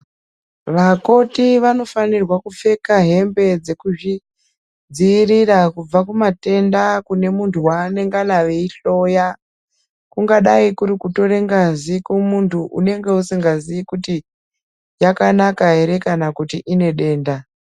Vakoti vanofanirwa kupfeka hembe Dzekuzvidzivirira kubva kumatenda kune muntu wanongana eihloya kungadau kuri kutora ngazi kumuntu unenge usingazivi kuti yakanaka here kana kuti unenge une denda.